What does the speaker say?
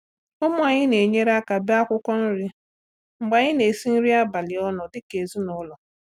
Ụmụ anyị na-enyere aka bee akwụkwọ nri mgbe anyị na-esi nri abalị ọnụ dịka ezinụlọ.